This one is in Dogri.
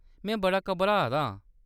में बड़ा घबराऽ दा हा।